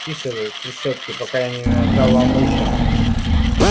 тише вы трещотки пока я не надрал вам уши